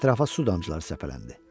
Ətrafa su damcıları səpələndi.